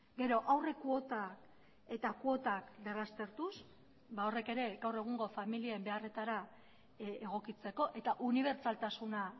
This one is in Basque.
gero aurrekuota eta kuotak berraztertuz ba horrek ere gaur egungo familien beharretara egokitzeko eta unibertsaltasuna